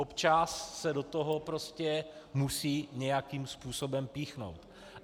Občas se do toho prostě musí nějakým způsobem píchnout.